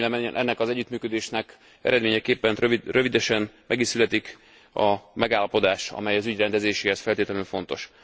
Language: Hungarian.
Remélem ennek az együttműködésnek eredményeképpen rövidesen meg is születik a megállapodás, amely az ügy rendezéséhez feltétlenül fontos.